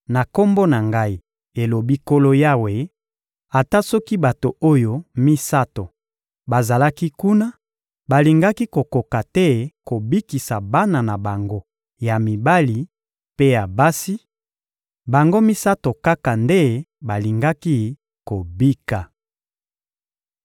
na Kombo na Ngai, elobi Nkolo Yawe, ata soki bato oyo misato bazalaki kuna, balingaki kokoka te kobikisa bana na bango ya mibali mpe ya basi; bango misato kaka nde balingaki kobika.